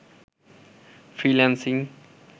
freelancing